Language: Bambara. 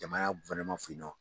Jamana fɛ yen nɔ